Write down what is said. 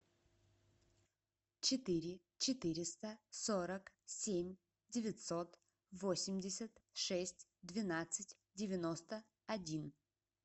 четыре четыреста сорок семь девятьсот восемьдесят шесть двенадцать девяносто один